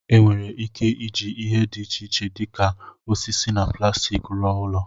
Enwere ike iji ihe dị iche iche dị ka osisi na plastik rụọ ụlọ.